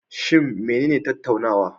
Shin menene tattaunawa?